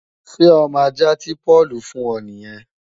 Ṣé ọmọ ajạ́ tí Páùlù fùn ọ nìyẹn?